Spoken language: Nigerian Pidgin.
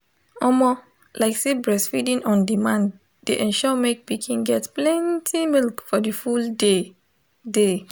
omo lyk say breastfeeding on demand de ensure make pikin get plenty milk for the full day day